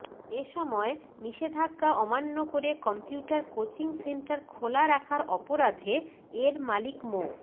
এ সময় নিষেধাজ্ঞা অমান্য করে কম্পিউটার কোচিং সেন্টার খোলা রাখার অপরাধে এর মালিক মো